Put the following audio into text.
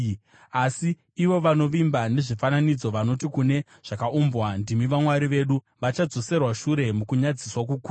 Asi ivo vanovimba nezvifananidzo, vanoti kune zvakaumbwa, ‘Ndimi vamwari vedu,’ vachadzoserwa shure mukunyadziswa kukuru.